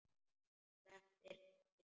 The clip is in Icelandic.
Sleppir takinu.